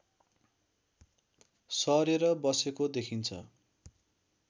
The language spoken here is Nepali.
सरेर बसेको देखिन्छ